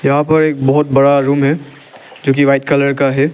यहां पर एक बहोत बड़ा रूम है जो कि व्हाइट कलर का है।